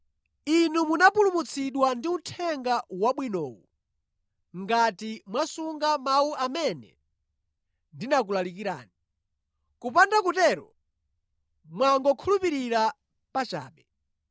Inu munapulumutsidwa ndi Uthenga Wabwinowu, ngati mwasunga mawu amene ndinakulalikirani. Kupanda kutero, mwangokhulupirira pachabe.